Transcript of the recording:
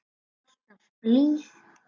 Alltaf blíð.